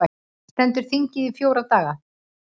Stendur þingið í fjóra daga